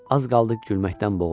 Az qaldı gülməkdən boğula.